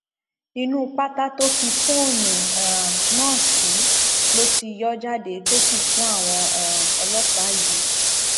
inú pátá tó ki fóònù um náà sí ló ti yọ ọ jáde tó sì fún àwọn um ọlọpàá yìí